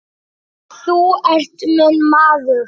Þú ert minn maður.